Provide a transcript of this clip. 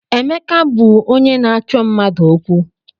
Emeka bụ onye na-achọ mmadụ okwu.